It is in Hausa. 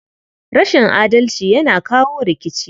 Rashin adalci yana kawo rikici.